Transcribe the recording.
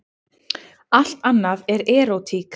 Allt annað er erótík.